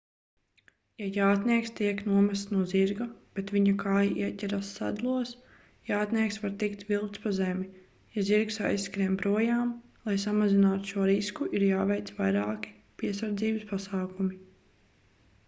ja jātnieks tiek nomests no zirga bet viņa kāja ieķeras sedlos jātnieks var tikt vilkts pa zemi ja zirgs aizskrien projām lai samazinātu šo risku ir jāveic vairāki piesardzības pasākumi